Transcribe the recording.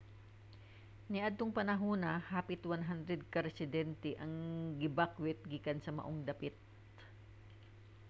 niadtong panahona hapit 100 ka residente ang gibakwet gikan sa maong dapit